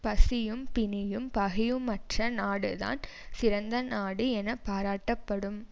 பசியும் பிணியும் பகையுமற்ற நாடு தான் சிறந்த நாடு என பாராட்ட படும்